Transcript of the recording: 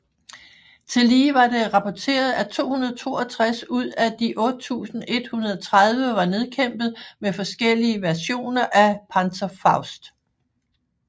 Tillige var det rapporteret at 262 ud af de 8130 var nedkæmpet med forskellige versioner af Panzerfaust